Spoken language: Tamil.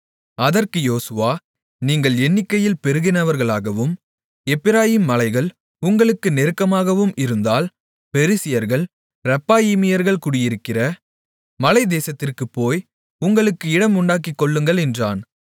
அதற்கு யோசுவா நீங்கள் எண்ணிக்கையில் பெருகினவர்களாகவும் எப்பிராயீம் மலைகள் உங்களுக்கு நெருக்கமாகவும் இருந்தால் பெரிசியர்கள் ரெப்பாயீமியர்கள் குடியிருக்கிற மலைதேசத்திற்குப் போய் உங்களுக்கு இடம் உண்டாக்கிக்கொள்ளுங்கள் என்றான்